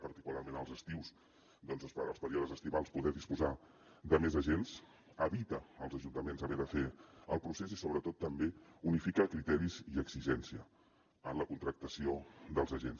particularment als estius perquè als períodes estivals poder disposar de més agents evita als ajuntaments haver de fer el procés i sobretot també unifica criteris i exigència en la contractació dels agents